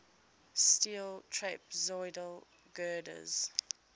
steel trapezoidal girders